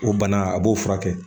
O bana a b'o furakɛ